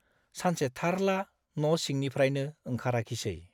सानसे थारला न' सिंनिफ्राइनो ओंखाराखिसे ।